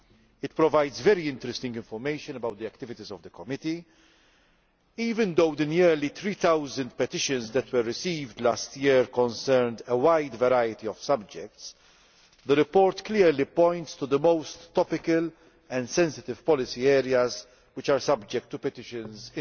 It provides very interesting information about the activities of the Committee. Even though the nearly 3000 petitions that were received last year concerned a wide variety of subjects, the report clearly points to the most topical and sensitive policy areas which formed the subject matter of petitions in